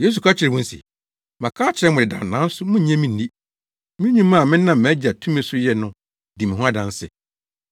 Yesu ka kyerɛɛ wɔn se, “Maka akyerɛ mo dedaw nanso munnnye me nni. Me nnwuma a menam mʼAgya tumi so yɛ no di me ho adanse,